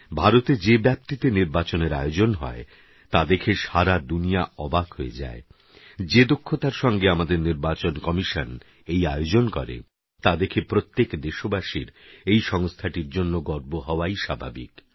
ভারতে যে ব্যাপ্তিতে নির্বাচনের আয়োজন হয় তা দেখে সারা দুনিয়া অবাক হয়ে যায় যে দক্ষতার সঙ্গে আমাদের নির্বাচন কমিশন এই আয়োজন করে তা দেখে প্রত্যেক দেশবাসীর এই সংস্থাটির জন্যে গর্ব হওয়াই স্বাভাবিক